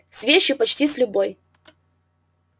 с вещью почти с любой